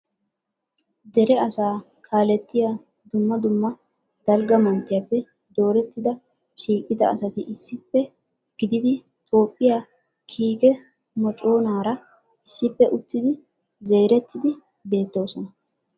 dere asaa kaaletiya dumma dumma dalgga manttiyaappe doorettida shiiqida asati issippe gididi Toophiyaa kiike mocconaara issippe uttid zerettiidi beettoosona .